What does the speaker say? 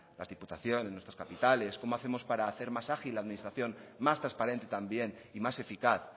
las diputaciones nuestras capitales cómo hacemos para hacer más ágil la administración más transparente también y más eficaz